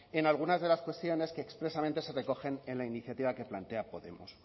en algunas de las cuestiones que expresamente se recogen en la iniciativa que plantea podemos